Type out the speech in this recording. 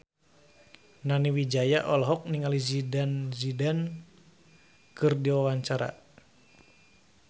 Nani Wijaya olohok ningali Zidane Zidane keur diwawancara